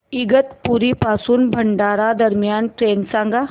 इगतपुरी पासून भंडारा दरम्यान ट्रेन सांगा